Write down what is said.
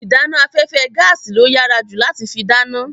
Ìdáná afẹ́fẹ́ gaàsì ló yàrá ju láti fi dáná.